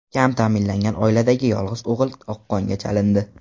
Kam ta’minlangan oiladagi yolg‘iz o‘g‘il oqqonga chalindi.